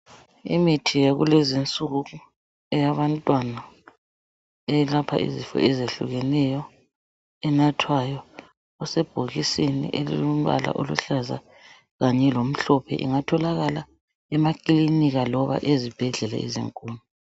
Imithi yakulezinsuku eyabantwana eyelapha izifo ezehlukeneyo enathwayo, usebhokisini elilombala oluhlaza kanye lomhlophe ungatholakala emakilinika noma ezibhedlela ezinkulu.